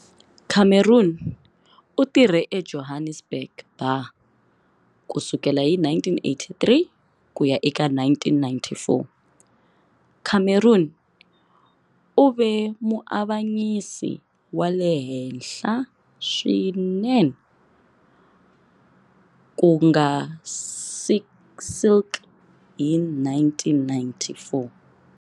Cameron u tirhe eJohannesburg Bar ku sukela hi 1983 ku ya eka 1994. Cameron u ve muavanyisi wa le henhla swinene ku nga silk hi 1994.